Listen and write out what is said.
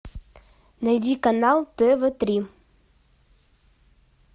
найди канал тв три